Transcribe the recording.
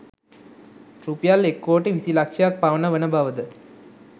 රුපියල් එක්කෝටි විසි ලක්‍ෂයක් පමණ වන බවද